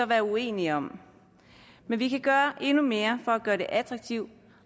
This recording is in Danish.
være uenige om men vi kan gøre endnu mere for at gøre det attraktivt